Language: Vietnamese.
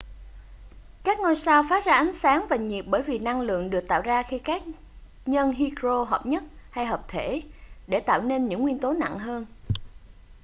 các ngôi sao phát ra ánh sáng và nhiệt bởi vì năng lượng được tạo ra khi các nhân hydro hợp nhất hay hợp thể để tạo nên những nguyên tố nặng hơn